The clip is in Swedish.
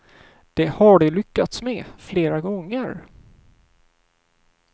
Det har de lyckats med flera gånger.